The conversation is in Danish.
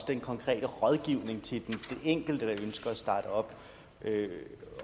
den konkrete rådgivning til den enkelte som ønsker at starte op